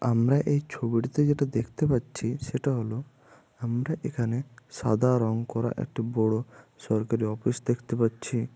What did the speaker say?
আমরা এই ছবিটিতে যেটা দেখতে পাচ্ছি সেটা হল আমরা এখানে সাদা রং করা একটি বড় সরকারী অফিস দেখতে পাচ্ছি।